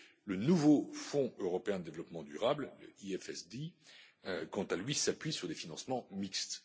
Le nouveau Fonds européen pour le développement durable, le FEDD, quant à lui, s'appuie sur des financements mixtes.